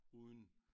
Uden